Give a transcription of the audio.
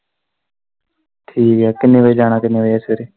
ਠੀਕ ਐ ਕਿੰਨੇ ਵਜੇ ਜਾਣਾ ਕਿੰਨੇ ਵਜੇ ਸਵੇਰੇ।